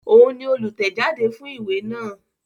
Òun ni olùtẹ̀jáde fún ìwé náà